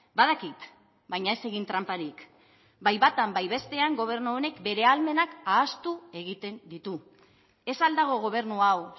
badakit baina ez egin tranparik bai batan bai bestean gobernu honek bere ahalmenak ahaztu egiten ditu ez al dago gobernu hau